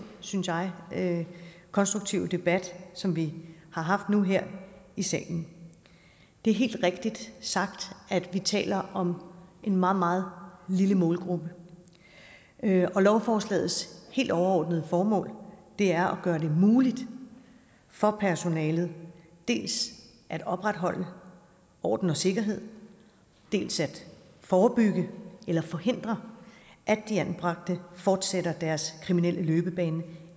synes jeg konstruktive debat som vi har haft nu her i salen det er helt rigtigt sagt at vi taler om en meget meget lille målgruppe og lovforslagets helt overordnede formål er at gøre det muligt for personalet dels at opretholde orden og sikkerhed dels at forebygge eller forhindre at de anbragte fortsætter deres kriminelle løbebane